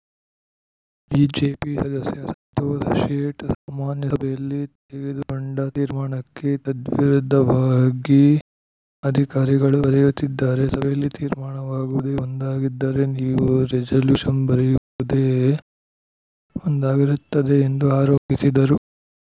BJP ಸದಸ್ಯ ಸಂತೋಷ್‌ ಶೇಟ್‌ ಸಾಮಾನ್ಯ ಸಭೆಯಲ್ಲಿ ತೆಗೆದುಕೊಂಡ ತೀರ್ಮಾನಕ್ಕೆ ತದ್ವಿರುದ್ಧವಾಗಿ ಅಧಿಕಾರಿಗಳು ಬರೆಯುತ್ತಿದ್ದಾರೆ ಸಭೆಯಲ್ಲಿ ತೀರ್ಮಾನವಾಗುವುದೇ ಒಂದಾಗಿದ್ದರೆ ನೀವು ರೆಜಲ್ಯೂಷನ್‌ ಬರೆಯುವುದೇ ಒಂದಾಗಿರುತ್ತದೆ ಎಂದು ಆರೋಪಿಸಿದರು